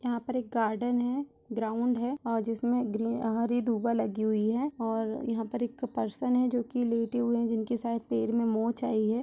यहाँ पर एक गार्डन है ग्राउंड है जिसमें ग्रीन हरी दुबा लगी हुई है और यह पर एक पर्सन है जो की लेटे हुए है जिनके शायद पैर में मोच आई है।